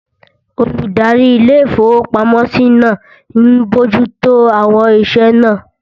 Olùdarí ilé-ìfowópamọ́sí náà n bojú tó àwọn iṣẹ́ náà